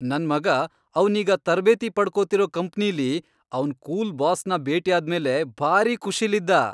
ನನ್ ಮಗ ಅವ್ನೀಗ ತರ್ಬೇತಿ ಪಡ್ಕೊತಿರೋ ಕಂಪ್ನಿಲಿ ಅವ್ನ್ ಕೂಲ್ ಬಾಸ್ನ ಭೇಟಿಯಾದ್ಮೇಲೆ ಭಾರಿ ಖುಷಿಲಿದ್ದ.